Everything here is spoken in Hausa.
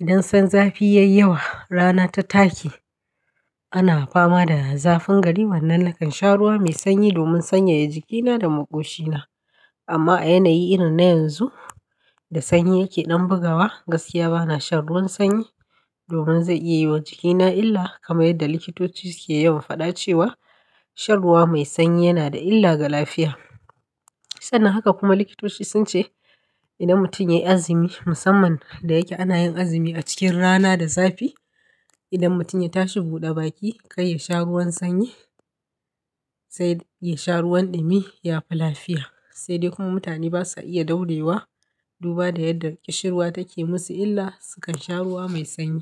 idan can zafi yay yawa, rana ta take, ana fama da zafin gari, wannan nakan sha ruwa mai sanyi domin sanyaya jikina da maƙoshina. Amma a yanayi irin na yanzu da sanyi yake ɗan bugawa, gaskiya ba na shan ruwan sanyi domin zai iya yi wa jikina illa. Kaman yadda likitoci suke yawan faɗa cewa. Shan ruwa mai sanyi yana da illa ga lafiya. Sannan haka kuma likitoci sun ce. Idan mutum ya yi azumi, musamman da yake ana yin azumi a cikin rana da zafi, idan mutum ya tashi buɗe baki, kai ya sha ruwan sanyi sai ya sha ruwan ɗumi, ya fi lafiya. Sai dai kuma mutane ba sa iya daurewa duba da yadda ƙishir ruwa take musu illa. Su kan sha ruwa mai sanyi.